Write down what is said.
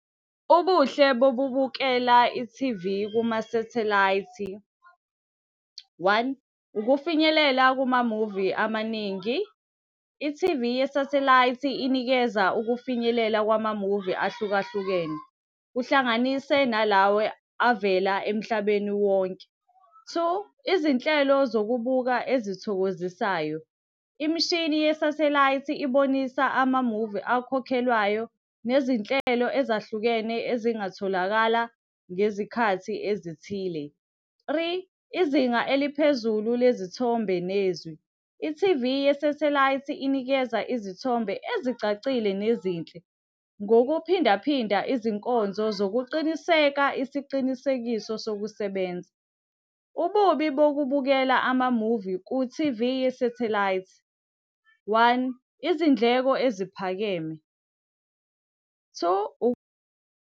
Ubuhle bokubukela i-T_V kuma sathelayithi, one, ukufinyelela kumamuvi amaningi. I-T_V yesathelayithi inikeza ukufinyelela kwamamuvi ahlukahlukene, kuhlanganise nalawa avela emhlabeni wonke. Two, izinhlelo zokubuka ezithokozisayo, imishini yesathelayithi ibonisa amamuvi akhokhelwayo nezinhlelo ezahlukene ezingatholakala ngezikhathi ezithile. Three, izinga eliphezulu lezithombe nezwi, i-T_V yesathelayithi inikeza izithombe ezicacile nezinhle. Ngokuphinda phinda izinkonzo zokuqiniseka isiqinisekiso sokusebenza. Ububi bokubukela amamuvi ku-T_V yesathelayithi, one, izindleko eziphakeme. Two .